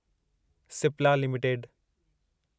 Cipla limited